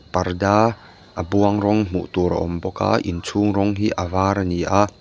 parda a buang rawng hmuh tur a awm bawk a inchhung rawng hi a var a ni a.